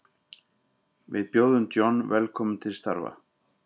Við bjóðum John velkominn til starfa.